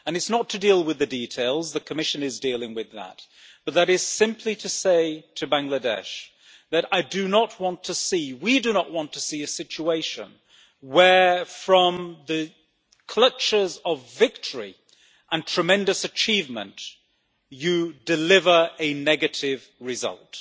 It is not to deal with the details, as the Commission is dealing with that, but it is simply to say to Bangladesh that we do not want to see a situation where, from the clutches of victory and tremendous achievement, you deliver a negative result.